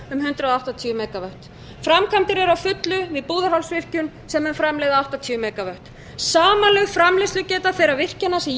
um hundrað áttatíu megavött framkvæmdir eru á fullu við búðarhálsvirkjun sem mun framleiða áttatíu megavött samanlögð framleiðslugeta þeirra virkjana sem